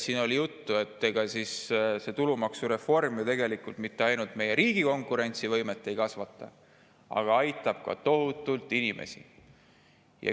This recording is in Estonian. Siin oli juttu, et see tulumaksureform ei kasvata ju mitte ainult meie riigi konkurentsivõimet, vaid aitab tohutult ka inimesi.